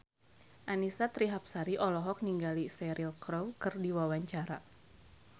Annisa Trihapsari olohok ningali Cheryl Crow keur diwawancara